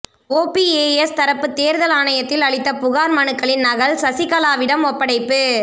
OPS தரப்பு தேர்தல் ஆணையத்தில் அளித்த புகார் மனுக்களின் நகல் சசிகலாவிடம் ஒப்படைப்பு